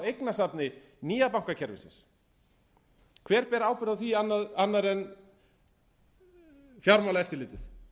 eignasafni nýja bankakerfisins hver ber ábyrgð á því annar en fjármálaeftirlitið